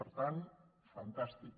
per tant fantàstic